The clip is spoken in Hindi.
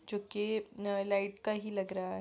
जो की अ लाइट का ही लग रहा है।